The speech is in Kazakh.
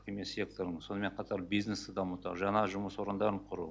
емес секторын сонымен қатар бизнесті дамыту жаңа жұмыс орындарын құру